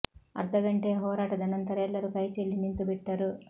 ಅರ್ಧ ಗಂಟೆಯ ಹೋರಾಟದ ನಂತರ ಎಲ್ಲರೂ ಕೈ ಚೆಲ್ಲಿ ನಿಂತು ಬಿಟ್ಟರು